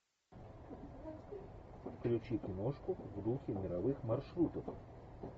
включи киношку в духе мировых маршрутов